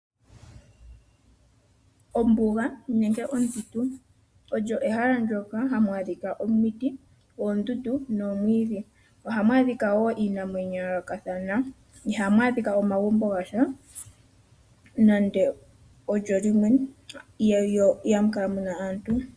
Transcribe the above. Ombuga olyo ehala ndoka hali adhika omuti, oondundu nomwiidhi ,ohamu adhika wo iinamwenyo ya yoolokathana ihamu adhika omagumbo gasha mo ihamukala aantu.